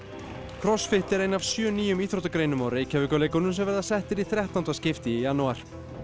crossfit er ein af sjö nýjum íþróttagreinum á Reykjavíkurleikunum sem verða settir í þrettánda skipti í janúar